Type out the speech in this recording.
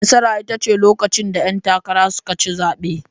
Nasara ita ce lokacin da 'yan takara suka ci zabe.